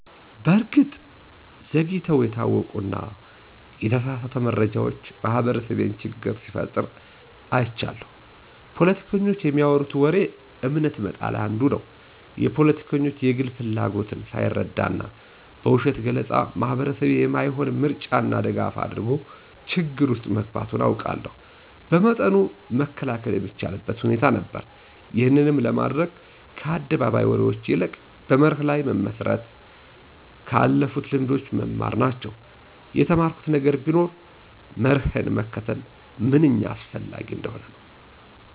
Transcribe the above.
በእርግጥ ዘግይተው የታወቁና የተሳሳተ መረጃዎች ማህበረሰቤን ችግር ሲፈጥሩ አይቻለሁ። ፖለቲከኞች በሚያወሩት ወሬ እምነት መጣል አንዱ ነው። የፖለቲከኞች የግል ፍላጎትን ሳይረዳና በውሸት ገለፃ ማህበረሰቤ የማይሆን ምርጫና ድጋፍ አድርጎ ችግር ውስጥ መግባቱን አውቃለሁ። በመጠኑ መከላከል የሚቻልበት ሁኔታ ነበር። ይህንንም ለማድረግ ከአደባባይ ወሬዎች ይልቅ በመርህ ላይ መመስረት፣ ከአለፉልት ልምዶች መማር ናቸው። የተማርኩት ነገር ቢኖር መርህን መከተል ምንኛ አስፈላጊ እንደሆነ ነው።